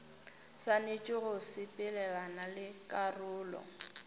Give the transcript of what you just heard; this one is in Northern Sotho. swanetše go sepelelana le karolo